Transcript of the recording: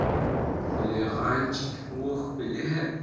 хулиганчик ох бля